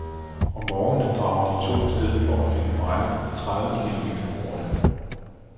Om morgenen drager de to af sted for at finde brænde, tredive kilometer borte.